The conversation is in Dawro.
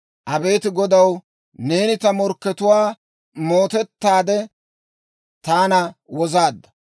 Abeet Godaw, neeni ta mootuwaa mootettaade, taana wozaadda.